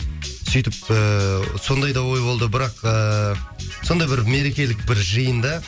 сөйтіп ыыы сондай да ой болды бірақ ыыы сондай бір мерекелік бір жиында